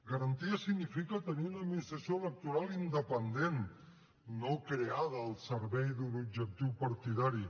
garanties significa tenir una administració electoral independent no creada al servei d’un objectiu partidari